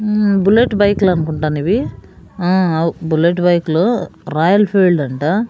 మ్మ్ bullet bike లు అన్కుంటానివి ఆ అవ్ బుల్లెట్ బైక్ లు రాయల్ ఫీల్డ్ అంట.